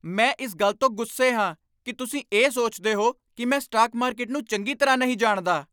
ਮੈਂ ਇਸ ਗੱਲ ਤੋਂ ਗੁੱਸੇ ਹਾਂ ਕਿ ਤੁਸੀਂ ਇਹ ਸੋਚਦੇ ਹੋ ਕਿ ਮੈਂ ਸਟਾਕ ਮਾਰਕੀਟ ਨੂੰ ਚੰਗੀ ਤਰ੍ਹਾਂ ਨਹੀਂ ਜਾਣਦਾ।